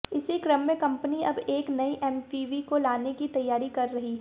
इसी क्रम में कंपनी अब एक नई एमपीवी को लाने की तैयारी कर रही है